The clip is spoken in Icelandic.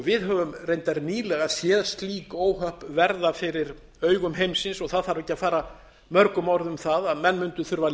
við höfum reyndar nýlega séð slík óhöpp verða fyrir augum heimsins það þarf ekki að fara mörgum orðum um það að menn mundu þurfa